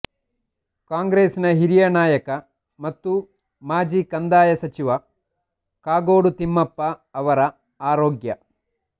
ಕಾಂಗ್ರೆಸ್ ನ ಹಿರಿಯ ನಾಯಕ ಮತ್ತು ಮಾಜಿ ಕಂದಾಯ ಸಚಿವ ಕಾಗೋಡು ತಿಮ್ಮಪ್ಪ ಅವರ ಆರೋಗ್ಯ